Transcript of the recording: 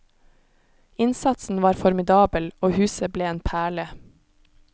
Innsatsen var formidabel, og huset ble en perle.